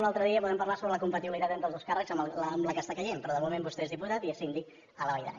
un altre dia podem parlar sobre la compatibilitat entre els dos càrrecs amb la que està caient però de moment vostè és diputat i és síndic a la vall d’aran